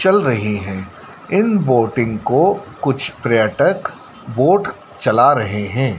चल रही है इन बोटिंग को कुछ पर्यटक बोट चला रहे हैं।